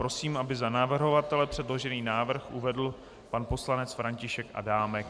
Prosím, aby za navrhovatele předložený návrh uvedl pan poslanec František Adámek.